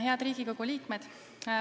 Head Riigikogu liikmed!